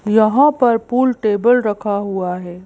यहां पर pool table रखा हुआ है।